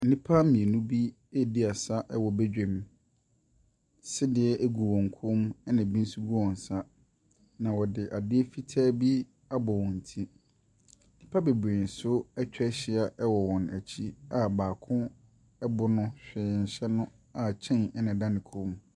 Nnipa mmienu bi redi asa wɔ badwam. Sedeɛ gu wɔn kɔn mu, ɛna ɛbi nso gu wɔn nsa. Na wɔde adeɛ fitaa bi abɔ wɔn ti. Nnipa bebree nso atwa ahyia wɔ wɔn akyi a baako bo no, hwee nhyɛ no a chain na ɛda ne kɔn mu.